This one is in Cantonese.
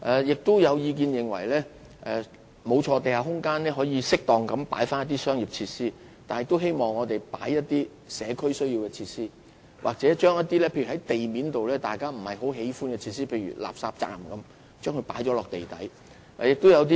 亦有意見認為，可在地下空間適當加入一些商業設施，但亦可以加入一些社區需要的設施，或將一些不太受歡迎的地面設施遷入地底。